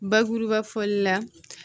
Bakuruba fɔli la